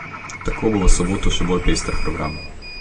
Tako bo v soboto še bolj pester program.